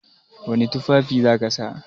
Wani tufafi za ka sa?